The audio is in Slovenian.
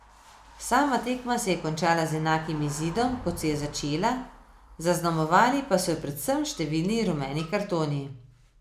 Sama tekma se je končala z enakim izidom, kot se je začela, zaznamovali pa so jo predvsem številni rumeni kartoni.